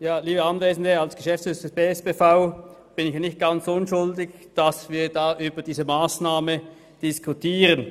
Als Geschäftsführer des Bernischen Staatspersonalverbands (BSPV) bin ich nicht ganz unschuldig, dass wir über diese Massnahme diskutieren.